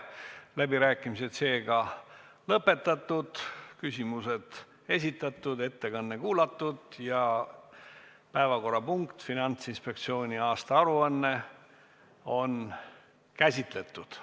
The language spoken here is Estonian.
Läbirääkimised on lõppenud, küsimused esitatud, ettekanne kuulatud ja päevakorrapunkt "Finantsinspektsiooni 2019. aasta aruanne" on käsitletud.